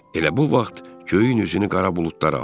Elə bu vaxt göyün üzünü qara buludlar aldı.